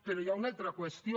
però hi ha una altra qüestió